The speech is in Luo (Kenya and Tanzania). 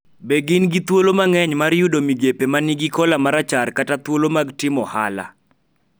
Be gin gi thuolo mang�eny mar yudo migepe ma nigi kola marachar kata thuolo mag timo ohala,